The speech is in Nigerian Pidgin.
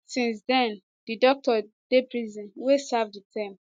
since den di doctor dey prison dey serve di term